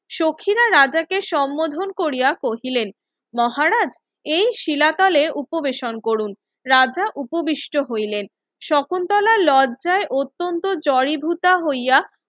সখীরা রাজাকে সম্মোধন কোরিয়া কহিলেন মহারাজ এই শিলাতলে উপবেশন করুন রাজা উপবিষ্ট হইলেন শকুন্তলায় লজ্জায় অত্তন্ত জড়ীভূতা হইয়া